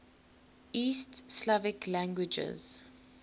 east slavic languages